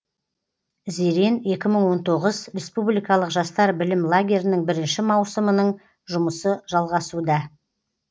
зерен екі мың он тоғыз республикалық жастар білім лагерінің бірінші маусымының жұмысы жалғасуда